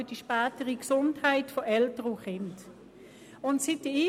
er ist für die spätere Gesundheit von Eltern und Kind von grosser Bedeutung.